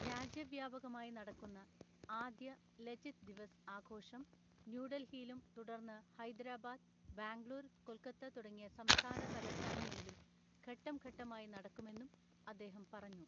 രാജ്യവ്യാപകമായി നടക്കുന്ന ആദ്യ 'ലചിത് ദിവസ്' ആഘോഷം ന്യൂഡൽഹിയിലും തുടർന്ന് ഹൈദരാബാദ്, ബാംഗ്ലൂർ, കൊൽക്കത്ത തുടങ്ങിയ സംസ്ഥാന തലസ്ഥാനങ്ങളിലും ഘട്ടം ഘട്ടമായി നടക്കുമെന്നും അദ്ദേഹം പറഞ്ഞു.